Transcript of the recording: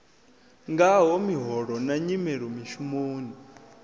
ngaho miholo na nyimelo mishumoni